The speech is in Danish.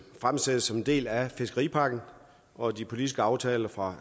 fremsat som en del af fiskeripakken og de politiske aftaler fra